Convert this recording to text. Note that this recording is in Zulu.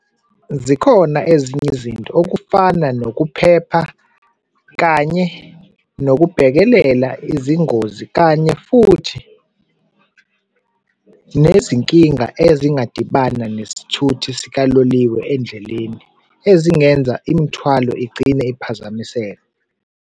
Zikhona ezinye izinto okufana nokuphepha, kanye nokubhekelela izingozi, kanye futhi nezinkinga ezingadibana nesithuthi sikaloliwe endleleni ezingenza imithwalo igcine iphazamiseka.